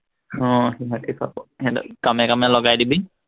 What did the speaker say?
আহ সিহঁতি পাব, সিহঁতক কামে কামে লগাই দিবি।